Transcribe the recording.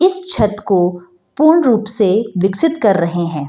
इस छत को पूर्ण रूप से विकसित कर रहे हैं।